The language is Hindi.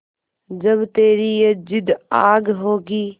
जब तेरी ये जिद्द आग होगी